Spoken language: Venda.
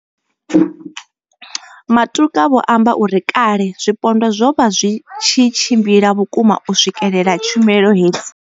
Matuka vho amba uri kale zwipondwa zwo vha zwi tshi tshimbila vhukuma u swikelela tshumelo hedzi.